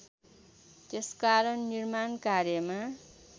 त्यसकारण निर्माण कार्यमा